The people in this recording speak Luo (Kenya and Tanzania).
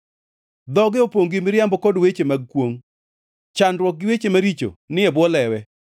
Dhoge opongʼ gi miriambo kod weche mag kwongʼ; chandruok gi weche maricho ni e bwo lewe.